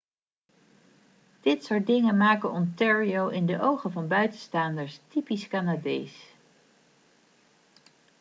dit soort dingen maken ontario in de ogen van buitenstaanders typisch canadees